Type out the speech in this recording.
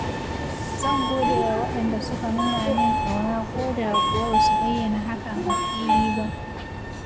Zan gode wa wadanda suke nuna min kauna koda kuwa ba su bayyana hakan a fili ba.